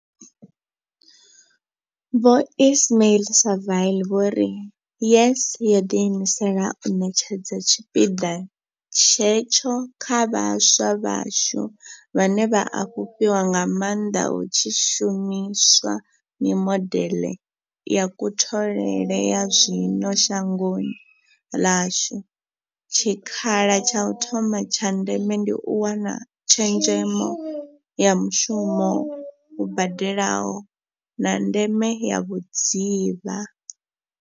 Vho Ismail-Saville vho ri YES yo ḓi imisela u ṋetshedza tshipiḓa hetsho kha vhaswa vhashu, vhane vha a fhufhiwa nga maanḓa hu tshi shumi swa mimodeḽe ya kutholele ya zwino shangoni ḽashu, tshikha la tsha u thoma tsha ndeme ndi u wana tshezhemo ya mushumo u badelaho, na ndeme ya vhudzivha.